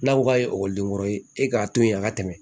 N'a ko k'a ye ekɔliden wɛrɛ ye e k'a to yen a ka tɛmɛ